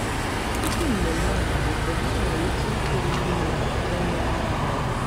Tupu mmemme amalite, ha ṅụrụ otu iko mmiri ma jee nyụọ mamịrị.